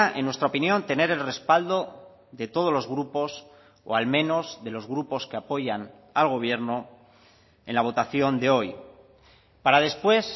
en nuestra opinión tener el respaldo de todos los grupos o al menos de los grupos que apoyan al gobierno en la votación de hoy para después